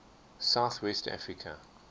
south west africa